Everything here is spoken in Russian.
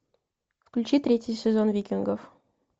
включи третий сезон викингов